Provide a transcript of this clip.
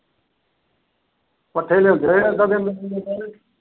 ਪੱਠੇ ਲਿਆਂਦੇ ਰਹਿਣ ਅੱਧਾ ਦਿਨ।